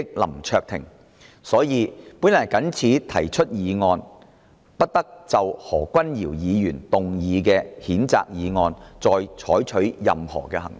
因此，我謹此提出議案，動議"不得就何君堯議員動議的譴責議案再採取任何行動"。